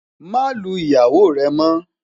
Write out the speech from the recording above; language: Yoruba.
má Lu ìyàwó rè mo